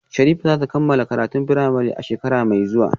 Sherifat za ta kammala karatun firamare a shekara mai zuwa